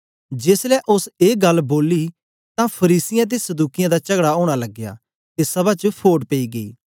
जेसलै ओस ए गल्ल बोली तां फरीसियें ते सदूकियें दा चगड़ा ओना लगया ते सभा च फोट पेई गेई